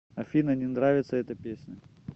афина не нравится эта песня